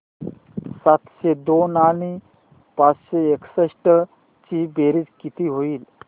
सातशे दोन आणि पाचशे एकसष्ट ची बेरीज किती होईल